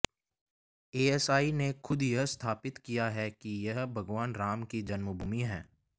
ASI ने खुद यह सत्यापित किया है कि यह भगवान राम की जन्मभूमि है